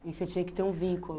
E você tinha que ter um vínculo.